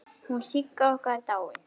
Hún Sigga okkar er dáin.